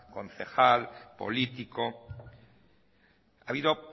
concejal político ha habido